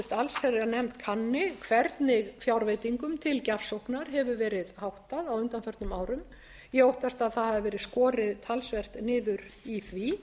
allsherjarnefnd kanni hvernig fjárveitingum til gjafsóknar hefur verið háttað á undanförnum árum ég óttast að það hafi verið skorið talsvert niður í því